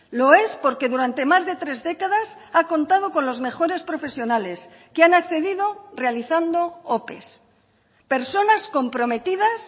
lo es porque durante más de tres décadas ha contado con los mejores profesionales que han accedido realizando ope personas comprometidas